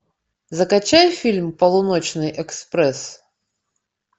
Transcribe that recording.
закачай фильм полуночный экспресс